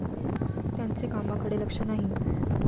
त्यांचे कामाकडे लक्ष नाही.